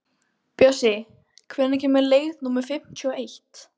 Bjössi, hvenær kemur leið númer fimmtíu og eitt?